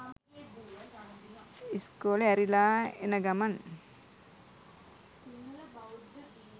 ඉස්කෝලෙ ඇරිලා එන ගමන්